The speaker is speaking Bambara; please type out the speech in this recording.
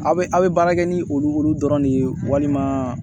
Aw bɛ a bɛ baara kɛ ni olu dɔrɔn de ye walima